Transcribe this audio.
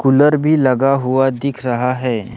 Cooler भी लगा हुआ दिख रहा है।